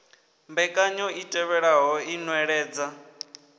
mbekanyo i tevhelaho i nweledza